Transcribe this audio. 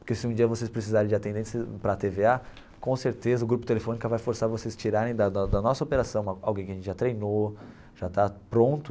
Porque se um dia vocês precisarem de atendentes para a Tê Vê Á, com certeza o grupo Telefônica vai forçar vocês a tirarem da da da da nossa operação alguém que a gente já treinou, já está pronto.